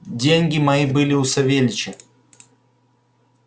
деньги мои были у савельича